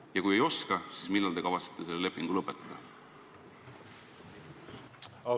Ja kui ei oska, siis millal te kavatsete selle lepingu lõpetada?